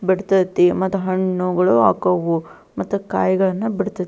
ಬಿಡತೈತಿ ಮತ್ತು ಹಣ್ಣು ಹೂವುಗಳು ಹಾಕವು ಮತ್ತೆ ಕಾಯಿಗಳನ್ನ ಬಿಡತೈತಿ.